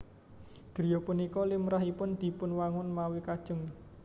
Griya punika limrahipun dipunwangun mawi kajéng